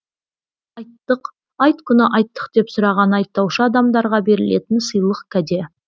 айттық айт күні айттық деп сұраған айттаушы адамдарға берілетін сыйлық кәде